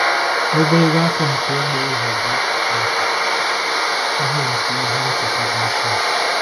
Ogologo afọ nke ịgba ohu bụ akụkụ nke ihe nke ihe ncheta Jọshụa.